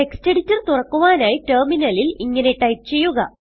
text editor തുറക്കുവാനായി ടെർമിനലിൽ ഇങ്ങനെ ടൈപ്പ് ചെയ്യുക